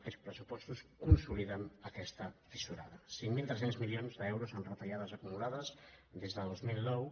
aquests pressupostos consoliden aquesta tiso·rada cinc mil tres cents milions d’euros en retallades acumulades des de dos mil nou